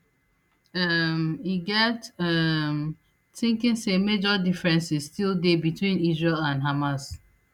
um e get um tinkin say major differences still dey between israel and hamas